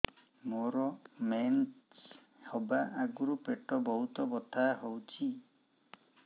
ମୋର ମେନ୍ସେସ ହବା ଆଗରୁ ପେଟ ବହୁତ ବଥା ହଉଚି